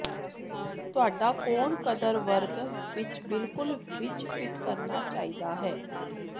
ਤੁਹਾਡਾ ਕੋਣ ਕਦਰ ਵਰਗ ਵਿਚ ਬਿਲਕੁਲ ਵਿੱਚ ਫਿੱਟ ਕਰਨਾ ਚਾਹੀਦਾ ਹੈ